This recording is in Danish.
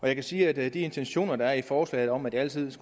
jeg kan sige at de intentioner der er i forslaget om at det altid